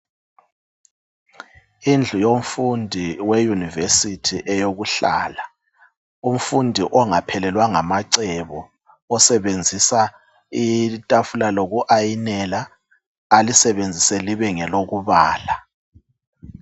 Indlu yomfundi we university eyokuhlala. Umfundi ongaphelelwa ngamacebo . Osebenzisa Itafula loku ayinela alisebenzise libengelokubala .